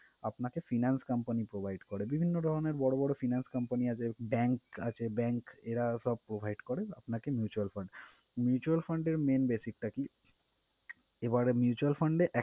আপনাকে finance company provide করে। বিভিন্ন ধরনের বড় বড় finance company আছে, bank আছে bank এরা সব provide করে আপনাকে mutual fund. mutual fund এর main basic টা কি? এবারে mutual fund এ